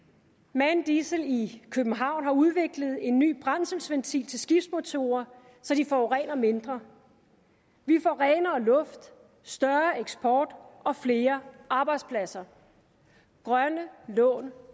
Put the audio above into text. man diesel i københavn har udviklet en ny brændselsventil til skibsmotorer så de forurener mindre vi får renere luft større eksport og flere arbejdspladser grønne lån